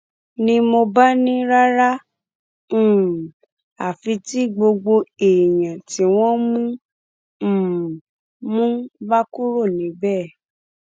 ni mo bá ní rárá um àfi tí gbogbo èèyàn tí wọn um mú bá kúrò níbẹ